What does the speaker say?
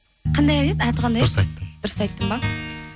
қандай ән еді аты қандай еді дұрыс айттың дұрыс айттым ба